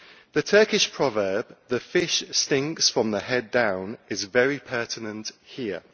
The Turkish proverb the fish stinks from the head down' is very pertinent here.